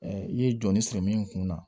i ye jɔnni sɔrɔ min kun na